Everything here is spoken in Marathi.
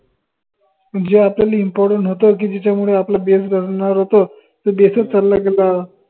जे आपल्याला important होत की ज्याच्यामुडे आपला base घडनार होत तो base च चालला गेला